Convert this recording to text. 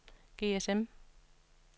GSM